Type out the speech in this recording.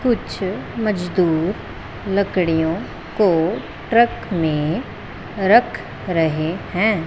कुछ मजदूर लकड़ियों को ट्रक में रख रहे है।